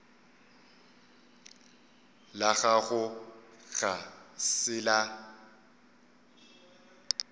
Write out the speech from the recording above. la gago ga se la